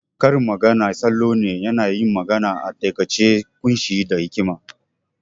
Karin magana salo ne nayin magana a taƙaice ƙunshe da hikima